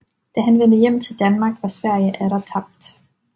Da han vendte hjem til Danmark var Sverige atter tabt